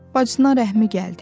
Bacısına rəhmi gəldi.